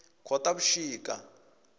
khotavuxika